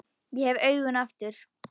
Ég hef augun aftur.